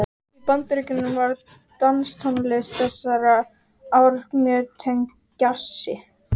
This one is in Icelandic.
Í Bandaríkjunum var danstónlist þessara ára mjög tengd djassi.